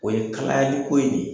O ye kalayali ko ye de